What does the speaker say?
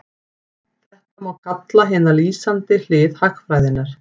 Þetta má kalla hina lýsandi hlið hagfræðinnar.